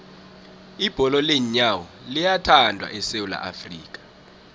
ibholo leenyawo liyathandwa esewula afrika